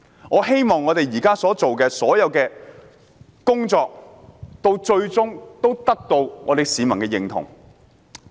我希望我們現時做的工作，最終能得到市民的認同。